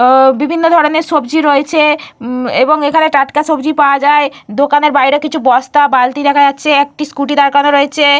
উম বিভিন্ন ধরণের সবজি রয়েছে। এবং এখানে টাটকা সবজি পাওয়া যায়। দোকানের বাইরে কিছু বস্তা বালতি দেখা যাচ্ছে। একটি স্ক্যুটি দাঁড় করানো রয়েছে।